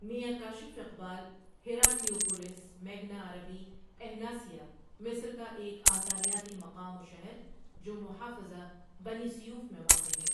ؐمیاں کاشف اقبال ہیراکلیوپولس میگنا عربی إهناسيا مصر کا ایک آثاریاتی مقام و شہر جو محافظہ بنی سیوف میں واقع ہے